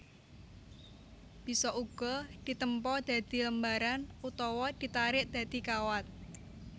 Bisa uga ditempa dadi lembaran utawa ditarik dadi kawat